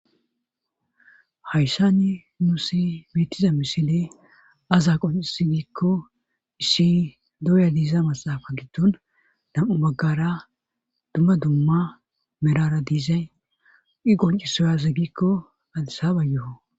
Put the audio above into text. Hayssanni nussi betiza misile aze qoncissize gikko issi dooya diiza maxaafa giddon nam'u baggara dumma dumma medhdhara diizay i qoncisoy aze gikko adissabayoo